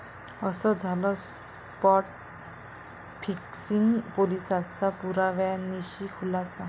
असं झालं spot fixing, पोलिसांचा पुराव्यानिशी खुलासा